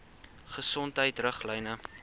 gesondheidriglyne